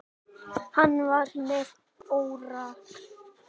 Hann var með óráði.